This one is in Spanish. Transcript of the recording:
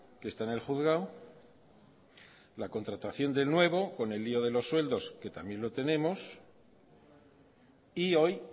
que está en el juzgado la contratación del nuevo con el lío de los sueldos que también lo tenemos y hoy